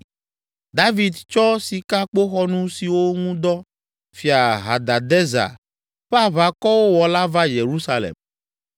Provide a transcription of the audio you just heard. David tsɔ sikakpoxɔnu siwo ŋu dɔ Fia Hadadezer ƒe aʋakɔwo wɔ la va Yerusalem.